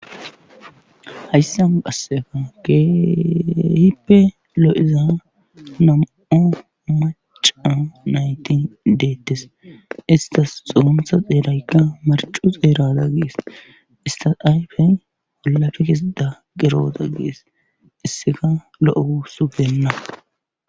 hayssan qasseka kehipe loo7iza nam7o maca naytin deettes istas xoontha xeeraykka marcu xeerada gees istas aypen walafe kesida geroota gees isseka lo7o usupenna